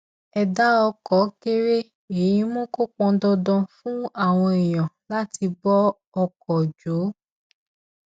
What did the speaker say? ẹdá ọkọ kéré èyí mú kó pọn dandan fún àwọn èèyàn láti bọ ọkọ jọ